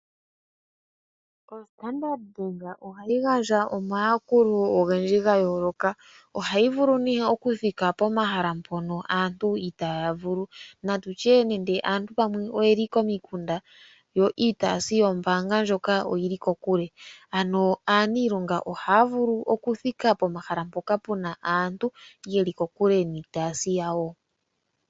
OStandard Bank ohayi gandja omayakulo ogendji ga yoloka. Ohayi vulu oku thika pomahala mpono aantu itaya vulu. Natu tye nande aantu pamwe oye li komikunda yo iitayimbaanga oyi li kokule, ano aaniilonga ohaya vulu oku thika pomahala mpoka pu na aantu ye li kokule niitayimbaanga yawo.